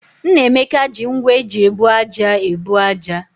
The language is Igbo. Nnameka ji ngwá eji ebu ájá ebu ájá.